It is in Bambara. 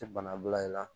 Tɛ bana bila i la